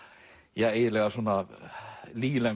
eiginlega